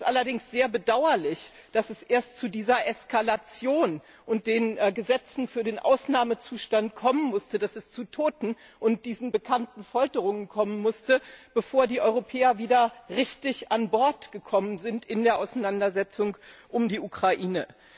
Es ist allerdings sehr bedauerlich, dass es erst zu dieser Eskalation und den Gesetzen für den Ausnahmezustand kommen musste, dass es zu Toten und diesen bekannten Folterungen kommen musste, bevor die Europäer wieder richtig an Bord gekommen sind in der Auseinandersetzung um die Ukraine.